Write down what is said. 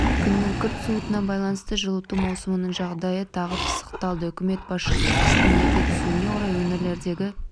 күннің күрт суытуына байланысты жылыту маусымының жағдайы тағы пысықталды үкімет басшысы қыстың ерте түсуіне орай өңірлердегі